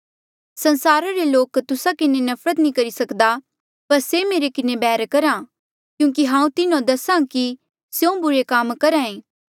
संसारा रे लोक तुस्सा किन्हें नफरत नी करी सक्दा पर से मेरे किन्हें बैर करहा क्यूंकि हांऊँ तिन्हो दसा कि स्यों बुरे काम करहा ऐें